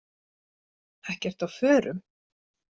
Ekki ertu á förum?